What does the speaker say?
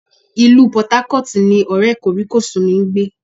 Ilu Port Harcourt ni ọ̀rẹ́ kòríkòsún mi ń gbé